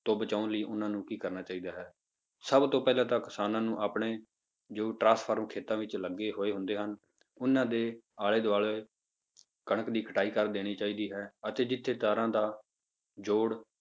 ਤੋਂ ਬਚਾਉਣ ਲਈ ਉਹਨਾਂ ਨੂੰ ਕੀ ਕਰਨਾ ਚਾਹੀਦਾ ਹੈ, ਸਭ ਤੋਂ ਪਹਿਲਾਂ ਤਾਂ ਕਿਸਾਨਾਂ ਨੂੰ ਆਪਣੇ ਜੋ ਟਰਾਂਸਫ਼ਰਮ ਖੇਤਾਂ ਵਿੱਚ ਲੱਗੇ ਹੋਏ ਹੁੰਦੇ ਹਨ, ਉਹਨਾਂ ਦੇ ਆਲੇ ਦੁਆਲੇ ਕਣਕ ਦੀ ਕਟਾਈ ਕਰ ਦੇਣੀ ਚਾਹੀਦੀ ਹੈ ਅਤੇ ਜਿੱਥੇ ਤਾਰਾਂ ਦਾ ਜੋੜ